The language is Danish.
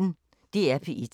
DR P1